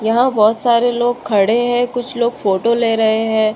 यहाँ बोहोत सारे लोग खड़े हैं। कुछ लोग फोटो ले रहे हैं।